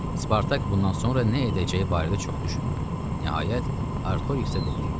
Spartak bundan sonra nə edəcəyi barədə çox düşündü, nəhayət Artoriksə dedi: